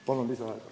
Palun lisaaega!